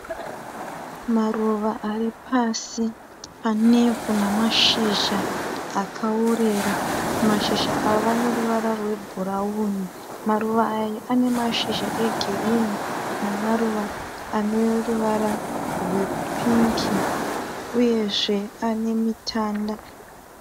Maruva aripasi panevhu namashizha akaworera. Mashizha ava aneruvara rwebhurauni. Maruva aya anemashizha egirinhi namaruva aneruvara rwepingi uyezve anemitanda.